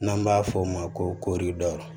N'an b'a f'o ma ko